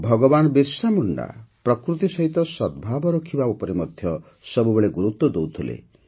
ଭଗବାନ ବିର୍ସାମୁଣ୍ଡା ପ୍ରକୃତି ସହିତ ସଦ୍ଭାବ ରଖିବା ଉପରେ ମଧ୍ୟ ସବୁବେଳେ ଗୁରୁତ୍ୱ ଦେଉଥିଲେ